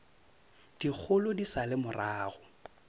dikgolo di sa le morago